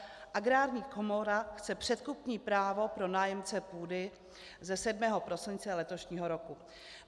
Agrární komora chce předkupní práva pro nájemce půdy" ze 7. prosince letošního roku.